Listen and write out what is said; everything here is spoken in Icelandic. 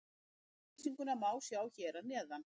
Yfirlýsinguna má sjá hér að neðan.